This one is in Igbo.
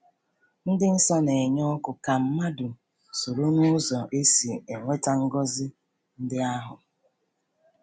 Ndị nsọ na-enye oku ka mmadụ soro n’ụzọ e si enweta ngọzi ndị ahụ.